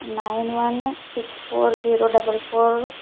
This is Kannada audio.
nine one six four zero double four --